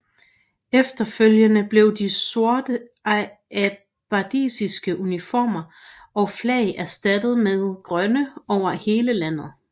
Efterfølgende blev de sorte abbasidiske uniformer og flag erstattet med grønne over hele landet